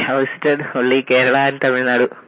I have visited only Kerala and Tamil Nadu